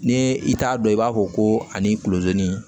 Ni i t'a dɔn i b'a fɔ ko ani kulodon ni